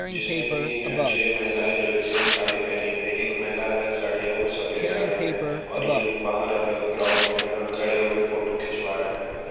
जिसमे की जो है छे महिलाए जो सेम साड़ी पहनी हुई है। एक महिला अलग साडी है वो सफ़ेद साड़ी में है और ये लोग बाहर ग्राउंड में जो है खड़े होके फोटो खिचवा रहे हैं।